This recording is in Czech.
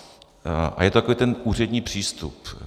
A je to takový ten úřední přístup.